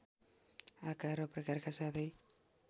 आकार र प्रकारका साथै